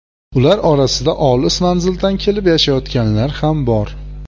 Ular orasida olis manzildan kelib yashayotganlar ham bor.